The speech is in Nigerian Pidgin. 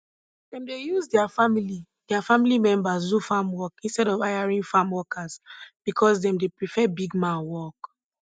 dem dey use deir family deir family members do farm work instead of hiring farm workers because dem dey prefer big man work